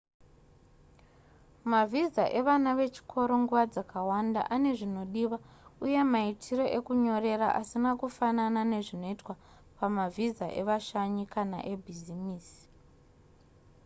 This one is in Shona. mavhiza evana vechikoro nguva dzakawanda ane zvinodiwa uye maitiro ekunyorera asina kufanana nezvinoitwa pamavhisa evashanyi kana ebhizimisi